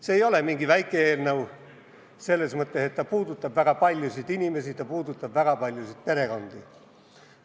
See ei ole mingi väike eelnõu – selles mõttes, et see puudutab väga paljusid inimesi, puudutab väga paljusid perekondi.